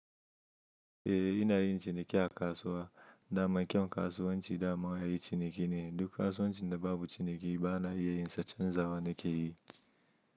Eh ina yin ciniki a kasuwa. Dama ƙyan kasuwanci dama ayi ciniki ne, duk kasuwancin da babu ciniki ba na iya yin sa canza wa nake yi.